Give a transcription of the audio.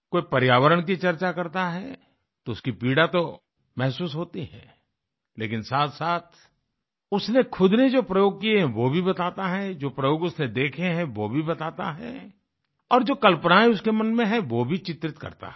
कोई पर्यावरण की चर्चा करता है तो उसकी पीड़ा तो महसूस होती है लेकिन साथसाथ उसने ख़ुद ने जो प्रयोग किये हैं वो भी बताता है जो प्रयोग उसने देखे हैं वो भी बताता है और जो कल्पनायें उसके मन में हैं वो भी चित्रित करता है